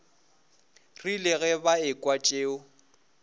rile ge ba ekwa tšeo